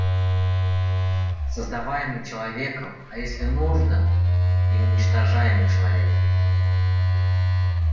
создаваемый человеком а если нужно и уничтожаемый человеком